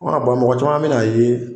ban mɔgɔ caman bɛna a ye